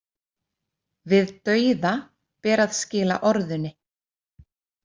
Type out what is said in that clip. Við dauða ber að skila orðunni.